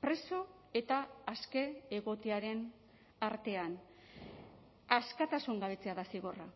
preso eta aske egotearen artean askatasun gabetzea da zigorra